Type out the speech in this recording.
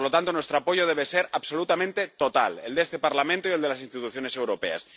Por lo tanto, nuestro apoyo debe ser absolutamente total, el de este Parlamento y el de las instituciones europeas.